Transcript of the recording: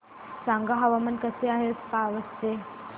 सांगा हवामान कसे आहे आज पावस चे